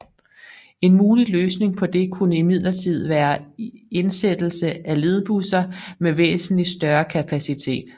En mulig løsning på det kunne imidlertid være indsættelse af ledbusser med væsentlig større kapacitet